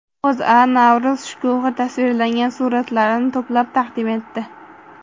O‘zA Navro‘z shkuhi tasvirlangan suratlarni to‘plab taqdim etdi .